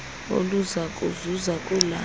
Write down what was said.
oluza kuzuza kula